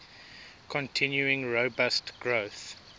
continuing robust growth